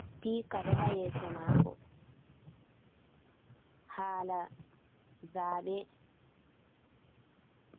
Spika Ɗo Ha yeso Mako Hala Zabe.